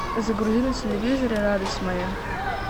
загрузи на телевизоре радость моя